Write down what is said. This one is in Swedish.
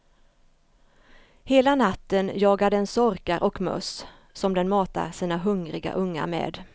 Hela natten jagar den sorkar och möss som den matar sina hungriga ungar med.